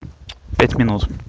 пять минут